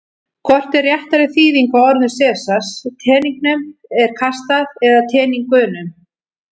Hvort er réttari þýðing á orðum Sesars: Teningnum er kastað eða Teningunum?